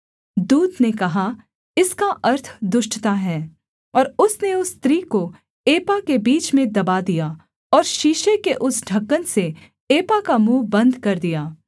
दूत ने कहा इसका अर्थ दुष्टता है और उसने उस स्त्री को एपा के बीच में दबा दिया और शीशे के उस ढ़क्कन से एपा का मुँह बन्द कर दिया